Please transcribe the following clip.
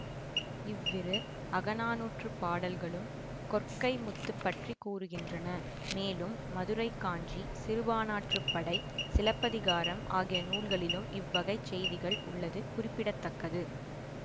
இவ்விரு அகநானூற்றுப் பாடல்களும் கொற்கை முத்து பற்றி கூறுகின்றனமேலும் மதுரைக்காஞ்சி சிறுபாணாற்றுப்படை சிலப்பதிகாரம் ஆகிய நூல்களிலும் இவ்வகைச்செய்திகள் உள்ளது குறிப்பிட தக்கது